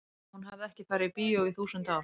ég meina hún hafði ekki farið í bíó í þúsund ár.